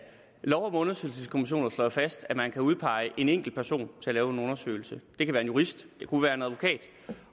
lov om undersøgelseskommissioner slår jo fast at man kan udpege en enkeltperson til at lave en undersøgelse det kan være en jurist det kunne være en advokat